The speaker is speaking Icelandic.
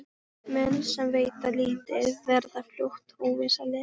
Menn sem veita lítið verða fljótt óvinsælir.